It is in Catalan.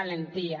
valentia